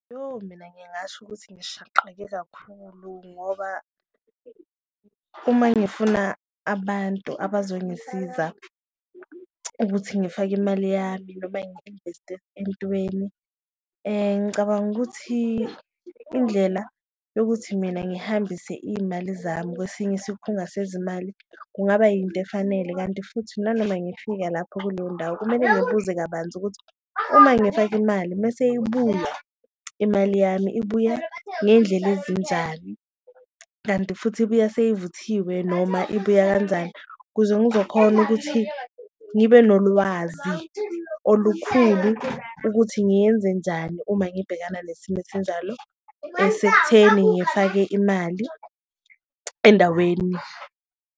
Yoh, mina ngingasho ukuthi ngishaqeke kakhulu ngoba uma ngifuna abantu abazongisiza ukuthi ngifake imali yami noma ngi-invest-e entweni, ngicabanga ukuthi indlela yokuthi mina ngihambise iyimali zami kwesinye isikhunga sezimali kungaba yinto efanele. Kanti futhi nanoma ngifika lapho kuleyo ndawo kumele ngibuze kabanzi ukuthi uma ngifaka imali mese ibuya imali yami ibuya ngendlela ezinjani, kanti futhi ibuya seyivuthiwe noma ibuya kanjani. Ukuze ngizokhona ukuthi ngibe nolwazi olukhulu ukuthi ngiyenze njani uma ngibhekana nesimo esinjalo, esekutheni ngifake imali endaweni.